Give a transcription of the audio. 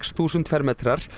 þúsund fermetrar